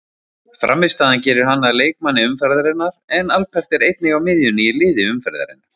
Frammistaðan gerir hann að leikmanni umferðarinnar en Albert er einnig á miðjunni í liði umferðarinnar.